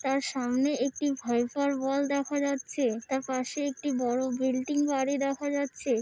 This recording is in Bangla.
তার সামনে একটি ভাইফার অওাল দেখা যাচ্ছে তার পাশে একটি বড় বিল্ডিং বাড়ি দেখা যাচ্ছে।